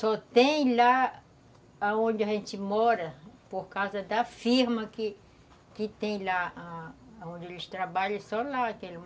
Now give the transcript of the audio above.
Só tem lá onde a gente mora, por causa da firma que que tem lá, onde eles trabalham, só lá.